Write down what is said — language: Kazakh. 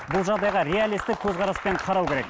бұл жағдайға реалистік көзқараспен қарау керек